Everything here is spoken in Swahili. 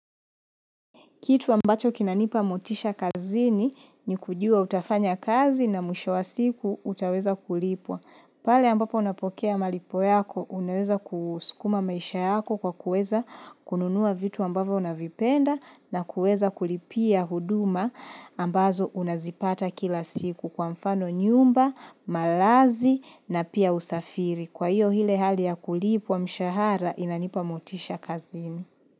Kitu ambacho kinanipa motisha kazini ni kujua utafanya kazi na mwisho wa siku utaweza kulipwa. Pale ambapo unapokea malipo yako, unaweza kuskuma maisha yako kwa kuweza kununua vitu ambavyo unavipenda na kuweza kulipia huduma ambazo unazipata kila siku kwa mfano nyumba, malazi na pia usafiri. Kwa hiyo ile hali ya kulipwa mshahara inanipa motisha kazini.